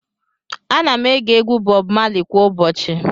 Ana m ege egwu Bob Marley kwa ụbọchị.